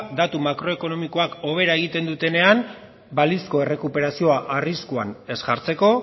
datu makroekonomikoak hobera egiten dutenean balizko errekuperazioa arriskuan ez jartzeko